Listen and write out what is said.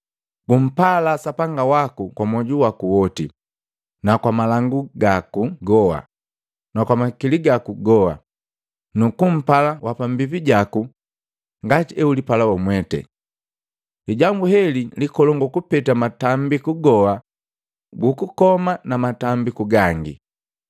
Gumpala Sapanga waku kwa moju waki woti, kwa malangu gaki goa, na kwa makili gaki goa, nukumpala wapambijaku ngati eulipala wamwete. Lijambu heli likolongu kupeta matambiku goa gu kukoma na matambiku gangi.